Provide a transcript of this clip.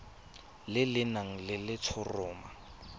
le le nang le letshoroma